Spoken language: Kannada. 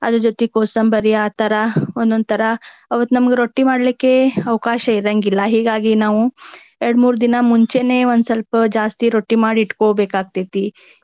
ಅದರ ಜೊತೆಗ ಕೋಸಂಬರಿ ಆ ತರಾ ಒಂದೊಂದ ತರಾ ಅವತ್ತ ನಮ್ಗ ರೊಟ್ಟಿ ಮಾಡ್ಲಿಕ್ಕೆ ಅವಕಾಶ ಇರಾಂಗಿಲ್ಲಾ. ಹೀಗಾಗಿ ನಾವು ಎರಡ್ ಮೂರ್ ದಿನ ಮುಂಚೆನೆ ಒಂದ ಸ್ವಲ್ಪ ಜಾಸ್ತಿ ರೊಟ್ಟಿ ಮಾಡಿ ಇಟ್ಕೊಬೇಕ ಆಕ್ಕೇತಿ.